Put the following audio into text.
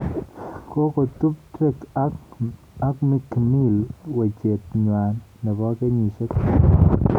Kokotup Drake ak mikmill wechet nywaa nebo kenyisyek somok